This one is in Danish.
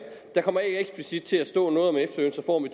der kommer ikke eksplicit til at stå noget om efterlønsreform i